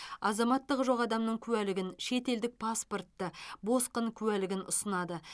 азаматтығы жоқ адамның куәлігін шетелдік паспортты босқын куәлігін ұсынады